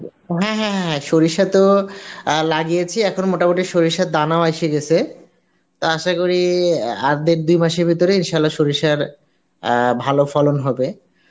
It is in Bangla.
"হ্যাঁ হ্যাঁ হ্যাঁ হ্যাঁ সরিষা তো লাগিয়েছি এখন মোটামুটি সরিষার দানাও এসে গেছে তো আসা করি আর ডের দুই মাসের ভেতরে Arbi